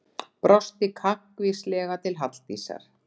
Brosti kankvíslega til Halldísar.